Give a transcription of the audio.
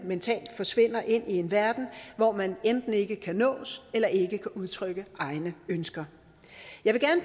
mentalt forsvinder ind i en verden hvor man enten ikke kan nås eller ikke kan udtrykke egne ønsker jeg vil